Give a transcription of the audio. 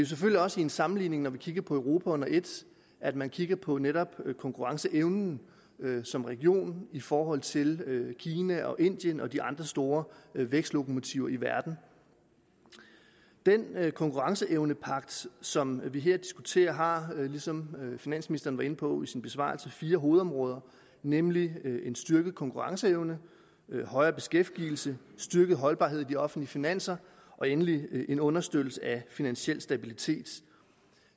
selvfølgelig også i en sammenligning når vi kigger på europa under et at man kigger på netop konkurrenceevnen som region i forhold til kina indien og de andre store vækstlokomotiver i verden den konkurrenceevnepagt som vi her diskuterer har som finansministeren var inde på i sin besvarelse fire hovedområder nemlig en styrket konkurrenceevne højere beskæftigelse styrket holdbarhed i de offentlige finanser og endelig en understøttelse af finansiel stabilitet